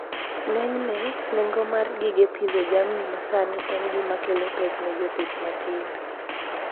Ng'enyne, nengo mar gige pidho jamni masani en gima kelo pek ne jopith matindo.